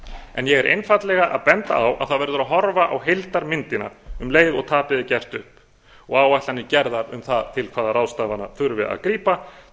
en ég er einfaldlega að benda á að það verður að horfa á heildarmyndina um leið og tapið er gert upp og áætlanir gerðar um það til hvaða ráðstafana þurfi að grípa